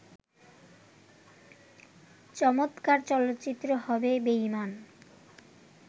চমৎকার চলচ্চিত্র হবে বেঈমান